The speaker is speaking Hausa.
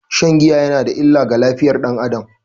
Shan giya yana da illa ga lafiyar dan Adam.